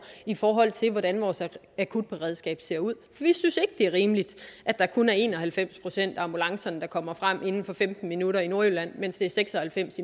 i forhold til hvordan vores akutberedskab ser ud vi synes ikke det er rimeligt at der kun er en og halvfems procent af ambulancerne der kommer frem inden for femten minutter i nordjylland mens det er seks og halvfems